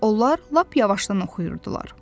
Onlar lap yavaşdan oxuyurdular.